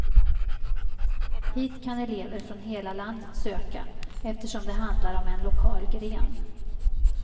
Hit kan elever från hela landet söka eftersom det handlar om en lokal gren.